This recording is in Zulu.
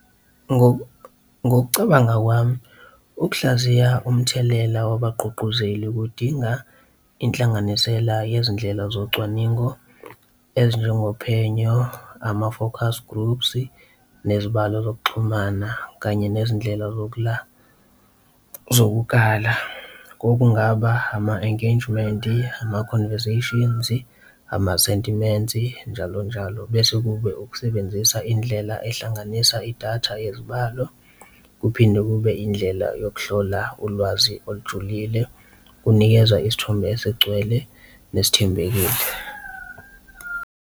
Ngokucabanga kwami ukuhlaziya umthelela wabagqugquzeli kudinga inhlanganisela yezindlela zocwaningo ezinjengophenyo, ama-forecast groups, nezibalo zokuxhumana, kanye nezindlela zokukhala. Okungaba ama-engagement-i, ama-conversations-i, ama-sentiment-i, njalo njalo. Bese kube ukusebenzisa indlela ehlanganisa idatha yezibalo, kuphinde kube indlela yokuhlola ulwazi olujulile kunikeza isithombe esigcwele nesithembekile.